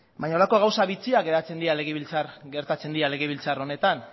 baina horrelako gauza bitxiak gertatzen dira legebiltzar honetan